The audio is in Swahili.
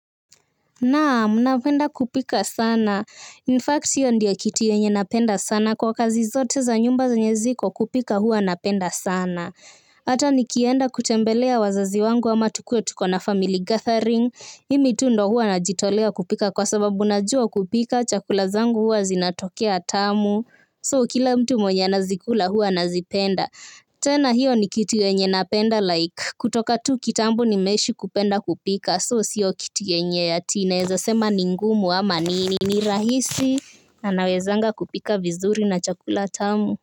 Naam, napenda kupika sana. In fact, hiyo ndio kitu yenye napenda sana kwa kazi zote za nyumba zenye ziko kupika huwa napenda sana. Hata nikienda kutembelea wazazi wangu ama tukuwe tuko na family gathering, mimi tu ndo huwa najitolea kupika kwa sababu najua kupika, chakula zangu huwa zinatokea tamu. So kila mtu mwenye anazikula huwa anazipenda. Tena hiyo ni kitu yenye napenda like. Kutoka tu kitambo nimeishi kupenda kupika. So siyo kitu wenye ati naeza sema ni ngumu ama nini. Ni rahisi anawezanga kupika vizuri na chakula tamu.